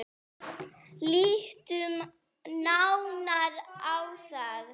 Lítum nánar á það.